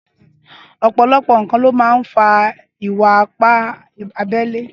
Ọpọlọpọ nkán ló mà n fà ìwà ìpá àbẹlé